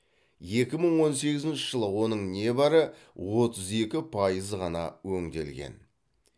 екі мың он сегізінші жылы оның небәрі отыз екі пайызы ғана өңделген